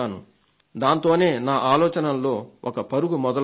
దాంతోనే నా ఆలోచనల్లో ఒక పరుగు మొదలవుతుంది